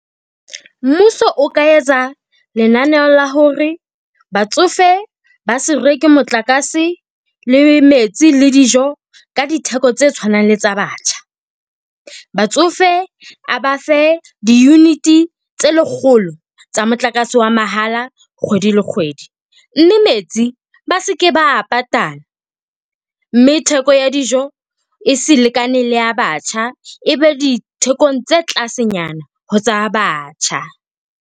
Mmuso o ka etsa lenaneo la hore batsofe ba se reke motlakase le metsi, le dijo ka ditheko tse tshwanang le tsa batjha. Batsofe a ba fe di-unit-e tse lekgolo tsa motlakase wa mahala kgwedi le kgwedi. Mme metsi ba seke ba a patala, mme theko ya dijo e se lekane le ya batjha, ebe dithekong tse tlase nyana ho tsa batjha.